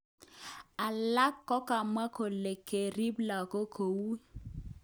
Alak kokamwa kole kerip lagok ko ui